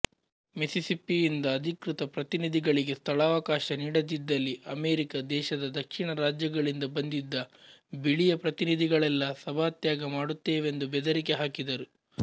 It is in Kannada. ಮಿಸಿಸಿಪ್ಪಿಯಿಂದ ಅಧಿಕೃತ ಪ್ರತಿನಿಧಿಗಳಿಗೆ ಸ್ಥಳಾವಕಾಶ ನೀಡದಿದ್ದಲ್ಲಿ ಅಮೆರಿಕಾ ದೇಶದ ದಕ್ಷಿಣ ರಾಜ್ಯಗಳಿಂದ ಬಂದಿದ್ದ ಬಿಳಿಯ ಪ್ರತಿನಿಧಿಗಳೆಲ್ಲ ಸಭಾತ್ಯಾಗ ಮಾಡುತ್ತೇವೆಂದು ಬೆದರಿಕೆಹಾಕಿದರು